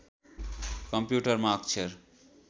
कम्प्युटरमा अक्षर